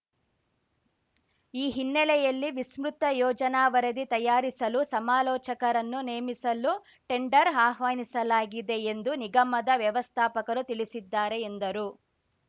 ಈ ಹಿನ್ನಲೆಯಲ್ಲಿ ವಿಸ್ಮೃತ ಯೋಜನಾ ವರದಿ ತಯಾರಿಸಲು ಸಮಾಲೋಚಕರನ್ನು ನೇಮಿಸಲು ಟೆಂಡರ್‌ ಆಹ್ವಾನಿಸಲಾಗಿದೆ ಎಂದು ನಿಗಮದ ವ್ಯವಸ್ಥಾಪಕರು ತಿಳಿಸಿದ್ದಾರೆ ಎಂದರು